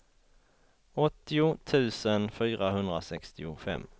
åttio tusen fyrahundrasextiofem